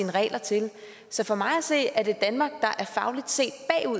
regler til så for mig at se er det danmark der fagligt set